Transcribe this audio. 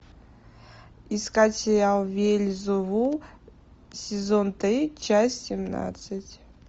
искать сериал вельзевул сезон три часть семнадцать